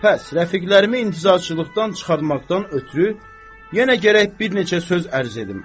Bəs rəfiqlərimi intizarçılıqdan çıxarmaqdan ötrü yenə gərək bir neçə söz ərz edim.